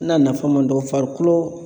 Na nafama dɔ farikolo